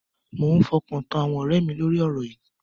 Mo ń fọkàn tán àwọn ọ̀rẹ́ mi lórí ọ̀rọ̀ yìí.